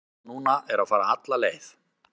Stefnan núna er að fara alla leið.